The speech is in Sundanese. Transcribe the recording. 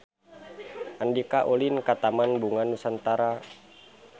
Andika ulin ka Taman Bunga Nusantara